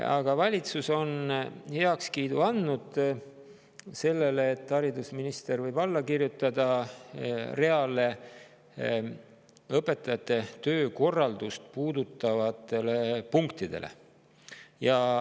Aga valitsus on heakskiidu andnud sellele, et haridusminister võib alla kirjutada reale õpetajate töökorraldust puudutavatele punktidele.